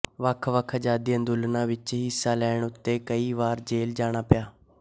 ਵੱਖਵੱਖ ਆਜ਼ਾਦੀ ਅੰਦੋਲਨਾਂ ਵਿੱਚ ਹਿੱਸਾ ਲੈਣ ਉੱਤੇ ਕਈ ਵਾਰ ਜੇਲ੍ਹ ਜਾਣਾ ਪਿਆ